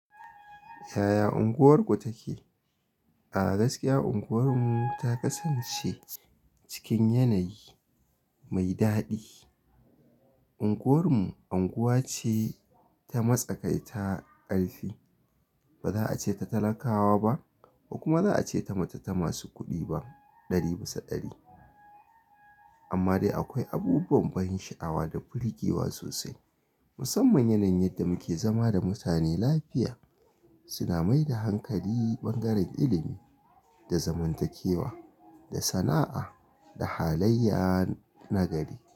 Yaya unguwarku take? A gaskiya unguwar mu ta kasance cikin yanayi mai daɗi. Unguwar mu, unguwa ce ta matsakai ta ƙarfi. Ba za'a ce ta talakawa ba, kuma ba za'a ce ta matata masu kuɗi ba ɗari bisa ɗari. Amma dai akwai abubuwan ban sha'awa da burgewa sosai. Musamman yanayin yadda muke zama da mutane lafiya, suna mai da hankali bangaren ilimi, da zamantakewa, da sana'a, da halayya nagari.